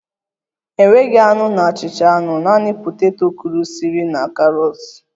Enweghị anụ na achịcha anụ, naanị poteto kụrisịrị na karọt